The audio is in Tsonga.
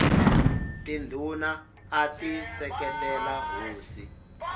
tindhuna ati seketela hosi